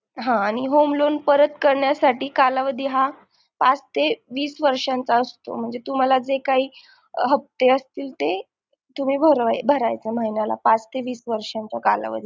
हा आणि home loan परत करण्यासाठी कालावधी हा पाच ते वीस वर्षांचा असतो म्हणजे तुम्हाला जे काही हप्ते असतील तुम्ही भरायचे महिन्याला पाच ते वीस वर्षा च्या कालावधीत